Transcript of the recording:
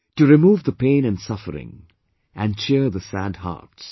To remove the pain and suffering, and cheer the sad hearts